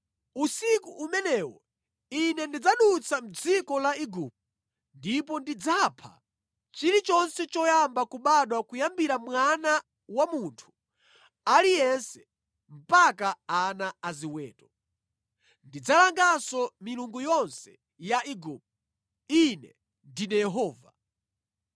“Usiku umenewo Ine ndidzadutsa mʼdziko la Igupto ndipo ndidzapha chilichonse choyamba kubadwa kuyambira mwana wa munthu aliyense mpaka ana aziweto. Ndidzalanganso milungu yonse ya Igupto. Ine ndine Yehova.